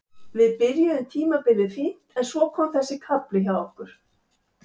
Við byrjuðum tímabilið fínt en svo kom þessi kafli hjá okkur.